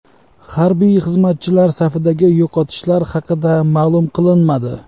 Harbiy xizmatchilar safidagi yo‘qotishlar haqida ma’lum qilinmadi.